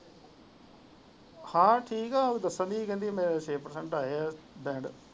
ਹਾਂ ਠੀਕ ਹੈ ਜੱਸਲ ਵੀ ਕਹਿੰਦੀ ਮੇਰੇ ਛੇਹ ਪਰਸੇੰਟ ਆਏ ਹੈ ਬੈਂਡ।